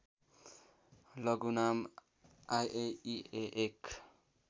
लघुनाम IAEA एक